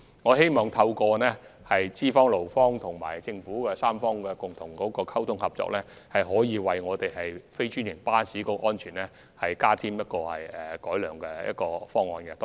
我希望透過資方、勞方及政府3方面共同溝通合作，為非專營巴士的安全提出改善方案。